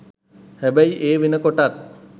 හැබැයි ඒ වෙනකොටත්